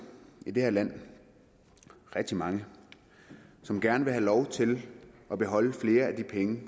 i det her land rigtig mange som gerne vil have lov til at beholde flere af de penge